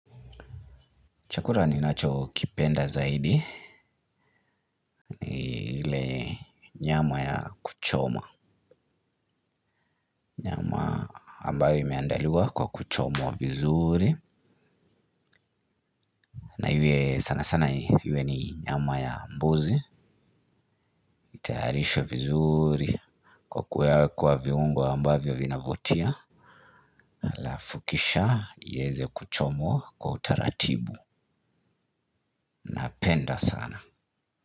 Chakula ninacho kipenda zaidi ni nyama ya kuchoma ambayo imeandaliwa kwa kuchomwa vizuri. Na iwe sana sana iwe ni nyama ya mbuzi. Itayarishwe vizuri. Kwa kuweka viungo ambayo vinavutia halafu kisha ieze kuchomwa kwa utaratibu. Napenda sana.